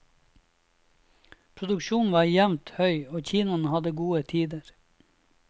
Produksjonen var jevnt høy, og kinoene hadde gode tider.